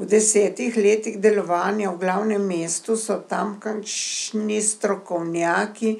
V desetih letih delovanja v glavnem mestu so tamkajšnji strokovnjaki